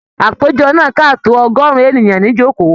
Àpéjọ náà ká tó ọgọrùn ènìyàn nijoko.